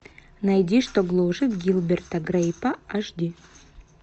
найди что гложет гилберта грейпа аш ди